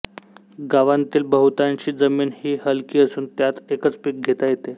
गावांतील बहुतांशी जमीन हि हलकी असून त्यात एकच पिक घेता येते